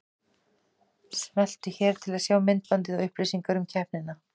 Smelltu hér til að sjá myndbandið og upplýsingar um keppnina